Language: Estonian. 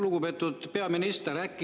Lugupeetud peaminister!